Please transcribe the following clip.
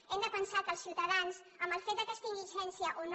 hem de pensar que els ciutadans amb el fet que es tingui llicència o no